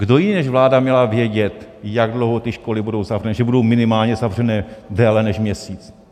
Kdo jiný než vláda měla vědět, jak dlouho ty školy budou zavřené, že budou minimálně zavřené déle než měsíc.